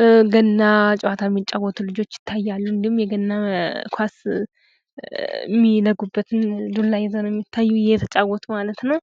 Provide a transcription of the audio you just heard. በገና ጨዋታ የሚጫወቱ ልጆች ይታሉ። እንዲሁም የገና ኳስ እሚለጉበትን ዱላ ይዘዉ ነዉ የሚታዩ እየተጫወቱ ማለት ነዉ።